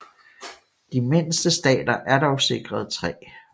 De mindste stater er dog sikret 3